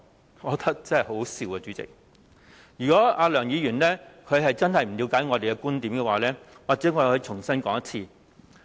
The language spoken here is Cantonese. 主席，我覺得很好笑，如果梁議員真的不了解我們的觀點，或許我可以重新說一次。